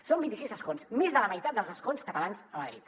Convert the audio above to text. som vint i sis escons més de la meitat dels escons catalans a madrid